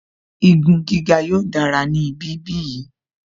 Igun gíga yóò dára ní ibi bí yìí